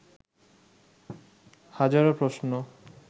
হাজারো প্রশ্ন